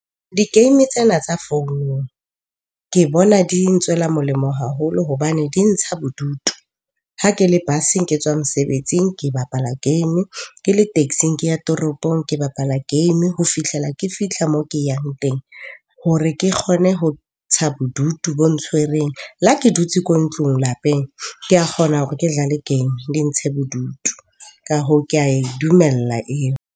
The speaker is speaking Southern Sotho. Di-game tsena tsa founung ke bona di ntswela molemo haholo hobane di ntsha bodutu. Ha ke le bus-eng ke tswa mosebetsing ke bapala game, ke le taxing ke ya toropong ke bapala game ho fihlela ke fihla moo ke yang teng hore ke kgone ho ntsha bodutu bo ntshwereng. Le ha ke dutse ko ntlong lapeng ke a kgona hore ke jale game di ntshe bodutu. Ka hoo, ke ae dumela eo.